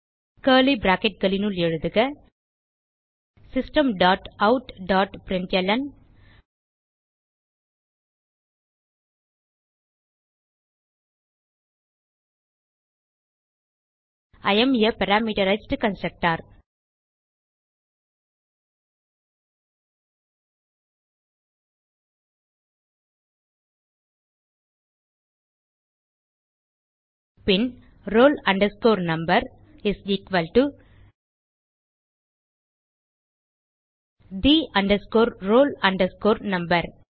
curly bracketகளினுள் எழுதுக system dot out dot println I am a parameterized constructor பின்roll number is equal to the roll number